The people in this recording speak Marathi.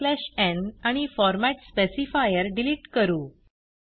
बॅकस्लॅश न् आणि फॉर्मॅट स्पेसिफायर डिलिट करू